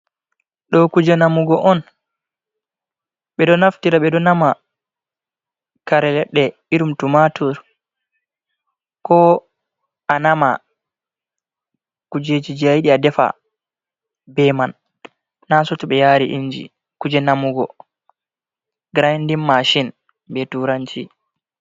Ɗo kuje namugo on. Ɓedo naftira ɓeɗo nama kare leɗɗe irin tumatur, ko a nama kujejiji ayiɗi adefa be man nase to ɓe yari inji. Kuje namugo grandin mashin be turanci.